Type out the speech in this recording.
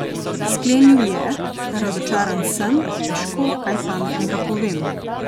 Sklenil je: "Razočaran sem, težko, kaj pametnega povem.